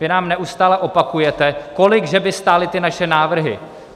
Vy nám neustále opakujete, kolik že by stály ty naše návrhy.